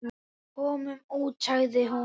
Komum út, sagði hún.